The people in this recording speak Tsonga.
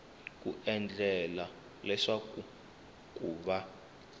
ku endlela leswaku ku va